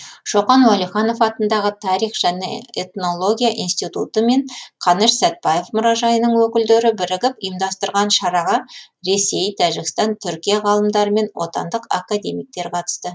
шоқан уәлиханов атындағы тарих және этнология институты мен қаныш сәтпаев мұражайының өкілдері бірігіп ұйымдастырған шараға ресей тәжікстан түркия ғалымдары мен отандық академиктер қатысты